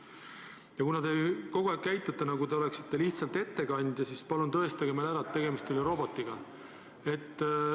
Ja kuna te kogu aeg käitute, nagu te oleksite lihtsalt ettekandja, siis palun tõestage meile ära, et tegemist ei ole robotiga.